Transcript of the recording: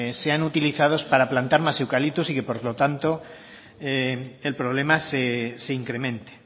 sean utilizados para plantar más eucalyptus y que por lo tanto el problema se incremente